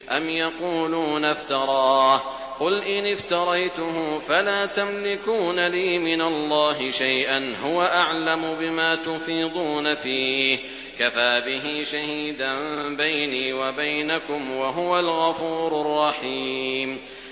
أَمْ يَقُولُونَ افْتَرَاهُ ۖ قُلْ إِنِ افْتَرَيْتُهُ فَلَا تَمْلِكُونَ لِي مِنَ اللَّهِ شَيْئًا ۖ هُوَ أَعْلَمُ بِمَا تُفِيضُونَ فِيهِ ۖ كَفَىٰ بِهِ شَهِيدًا بَيْنِي وَبَيْنَكُمْ ۖ وَهُوَ الْغَفُورُ الرَّحِيمُ